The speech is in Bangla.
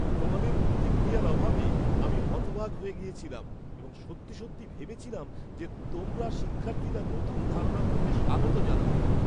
তোমাদের প্রতিক্রিয়ার অভাবে আমি হতবাক হয়ে গিয়েছিলাম এবং সত্যি সত্যি ভেবেছিলাম যে তোমরা শিক্ষার্থীরা নতুন ধারণাগুলোকে স্বাগত জানাবে।